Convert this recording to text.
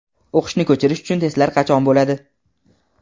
O‘qishni ko‘chirish uchun testlar qachon bo‘ladi?.